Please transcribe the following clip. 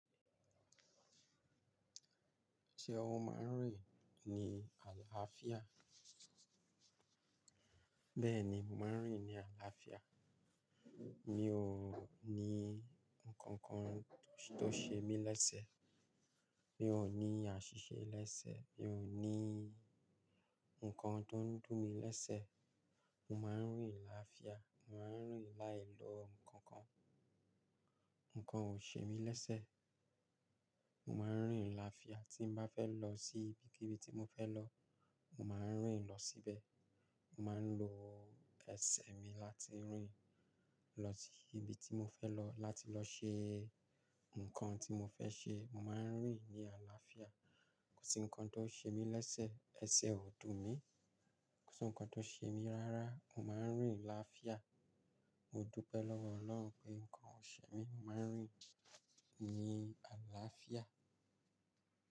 Ṣé o máa ń rìn ní àlàáfíà? Bẹ́ẹ̀ni, mò maa ń rìn ní àlàáfíà. Mi ò ní ǹkankan tó ṣe mí lẹ́sẹ̀. Mi ò ní àṣìṣe lẹ́sẹ̀. Mi ò ní ǹkan tó ń dùn mí lẹ́sẹ̀. Mo máa ń rìn láàáfíà. Mo máa ń rìn láìlọ ǹkankan. Ǹkan ò ṣe mí lẹ́sẹ̀. Mo máa ń rìn láàáfíà. Tí n bá fẹ́ lọ sí ibikibi tí mo fẹ́ lọ, máa rìn lọ síbẹ̀. Mo máa ń lo ẹsẹ̀ mi láti rìn lọ sí ibi tí mo fẹ́ lọ, láti lọ ṣe ǹkan tí mo fẹ́ ṣe. Mo máa ń rìn ní àlàáfíà. Kò sí ǹkan tó ṣe mí lẹ́sẹ̀. Ẹsẹ̀ ò dùn mí. Kò sí ǹkan tó ṣe mí rárá. Mo máa ń rìn láàáfíà. Mo dúpẹ́ lọ́wọ́ Ọlọ́run pé ǹkan ò ṣe mí. Mo máa ń rìn ní àlàáfíà.